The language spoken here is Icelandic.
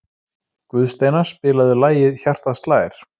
Guðsteina, spilaðu lagið „Hjartað slær“.